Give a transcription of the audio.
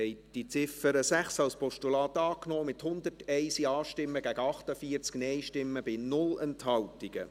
Sie haben die Ziffer 6 als Postulat angenommen, mit 101 Ja- gegen 48 Nein-Stimmen bei 0 Enthaltungen.